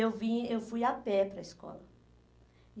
E eu vim eu fui a pé para a escola.